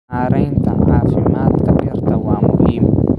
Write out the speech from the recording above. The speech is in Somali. Maareynta caafimaadka dhirta waa muhiim.